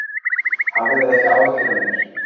Hafðu ekki áhyggjur af mér.